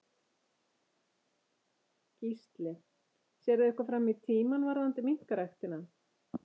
Gísli: Sérðu eitthvað fram í tímann varðandi minkaræktina?